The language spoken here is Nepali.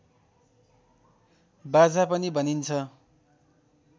बाजा पनि भनिन्छ